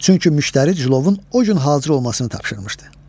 Çünki müştəri cılovun o gün hazır olmasını tapşırmışdı.